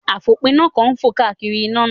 Àfòpiná kan ń fò káàkiri iná náà